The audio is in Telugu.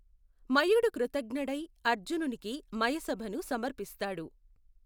మయుడు కృతజ్ఞడై అర్జునునికి మయసభను సమర్పిస్తాడు.